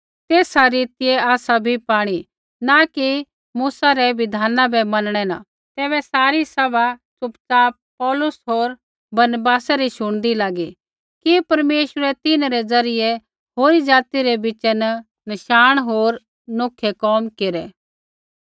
तैबै सारी सभा च़ुपच़ाप पौलुस होर बरनबासै री शुणदी लागी कि परमेश्वरै तिन्हरै ज़रियै होरी ज़ाति रै बिच़ा न नशाण होर नौखै कोम केरै